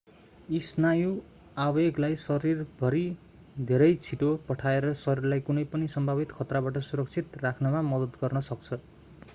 यी स्नायु आवेगलाई शरीरभरि धेरै छिटो पठाएर शरीरलाई कुनै पनि सम्भावित खतराबाट सुरक्षित राख्नमा मद्दत गर्न सक्छ